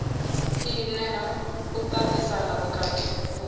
i nea u tatisana vhukuma